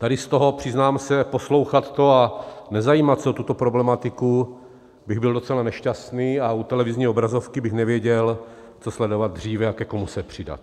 Tady z toho, přiznám se, poslouchat to a nezajímat se o tuto problematiku, bych byl docela nešťastný a u televizní obrazovky bych nevěděl, co sledovat dříve a ke komu se přidat.